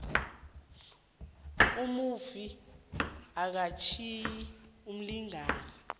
umufi akatjhiyi umlingani